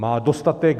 Má dostatek.